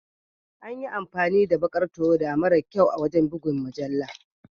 An yi amfani da baƙar tawada mara kyau wajen buga mujallar.